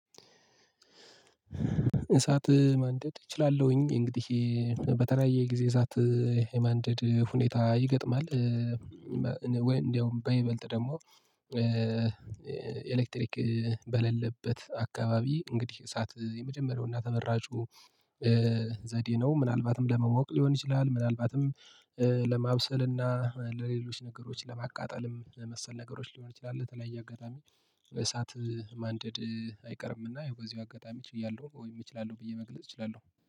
እሳት ማንደድ እችላለሁኝ እንግዲህ እ በተለያየ ጊዜ እሳት እ የማንደድ ሁኔታ ይገጥማል እ ወይም እንደውም በይበልጥ ደግሞ እ ኤሌክትሪክ እ በሌለበት አካባቢ እንግዲህ እሳት እ የመጀመሪያውና ተመራጩ እ ዘዴ ነው። ምናልባትም ለመሞቅ ሊሆን ይችላል ምናልባትም እ ለማብሰል እና ለሌሎች ነገሮች ለማቃጠልም መሰል ነገሮች ሊሆን ይችላል። ለተለያየ አጋጣሚ በእሳት እ ማንደድ እ አይቀርምና ይሄው በዚሁ አጋጣሚ ችያለሁ እችላለሁ ወይም እችላለሁ ብዬ መግለጽ እችላለሁ